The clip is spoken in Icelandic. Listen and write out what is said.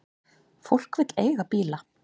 Fólk vill eiga bíl.